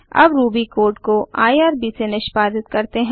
अब Ruby code को IRB से निष्पादित करते हैं